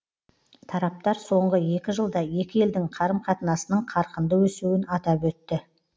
тараптар соңғы екі жылда екі елдің қарым қатынасының қарқынды өсуін атап өтті